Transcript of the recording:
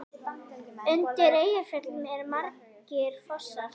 Undir Eyjafjöllum eru margir fossar.